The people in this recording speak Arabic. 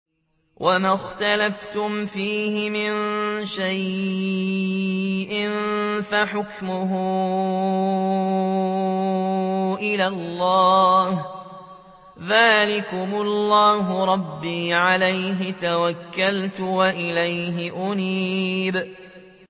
وَمَا اخْتَلَفْتُمْ فِيهِ مِن شَيْءٍ فَحُكْمُهُ إِلَى اللَّهِ ۚ ذَٰلِكُمُ اللَّهُ رَبِّي عَلَيْهِ تَوَكَّلْتُ وَإِلَيْهِ أُنِيبُ